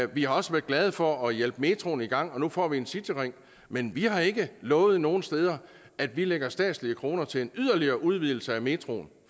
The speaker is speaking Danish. vi har også været glade for at hjælpe metroen i gang og nu får vi en cityring men vi har ikke lovet nogen steder at vi lægger statslige kroner til en yderligere udvidelse af metroen